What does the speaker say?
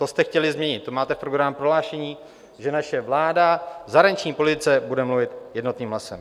To jste chtěli změnit, to máte v programovém prohlášení, že naše vláda v zahraniční politice bude mluvit jednotným hlasem.